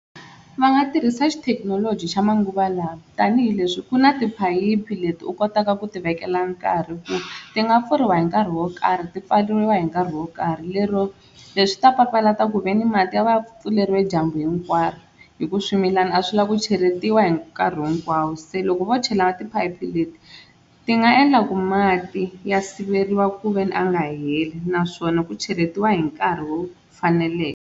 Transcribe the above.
Va nga tirhisa xithekinoloji xa manguva lawa tanihileswi ku na tiphayiphi leti u kotaka ku ti vekela nkarhi ku ti nga pfuriwa hi nkarhi wo karhi ti pfariwa hi nkarhi wo karhi, lero leswi swi ta papalata kuveni mati ya va ya pfuleriwe dyambu hinkwaro hi ku swimilana a swi lava ku cheletiwa hi nkarhi hinkwawo. Se loko vo chela na tiphayiphi leti ti nga endla ku mati ya siveriwa ku veni a nga heli naswona ku cheletiwa hi nkarhi wo faneleke.